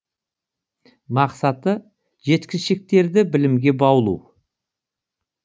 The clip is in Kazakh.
мақсаты жеткіншектерді білімге баулу